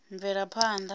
mvelaphanḓa